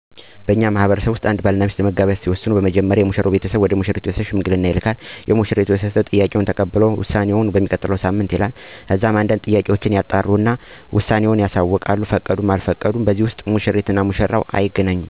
በእኛ ማህበረሰብ ውስጥ አንድ ባል እና ሚስት ለመጋባት ሲወስኑ መጀመሪያ ላይ የሚያደርጉት ነገር ሙሽራው ወደ ሙሽሪት ቤተሰብ ሽማግሌ ይልካል። የሙሽሪት ቤተሰብ የሽማግሌወችን ጥያቄ ተቀብለው መልሳቸው ለማሳወቅ ሁለተኛ ቀጠሮ ይሰጣሉ። የሙሽሪት ቤተሰብም ስለሙሽራው ባህሪ፣ የኑሮ ሁኔታ እና የተለያዬ ነገሮችን ያጣራሉ። ከዚህ በኃላ በቀጠሮአቸው መሠረት መልሳቸውን ለሽማግሌወች ከፈቀዱም ካልፈቀዱም ውሳኔአቸውን ለሽማግሌወቹ ያሳውቃሉ። በዚህ ሂደት ውስጥ ሙሽሪት እና ሙሽራው አይገናኙም።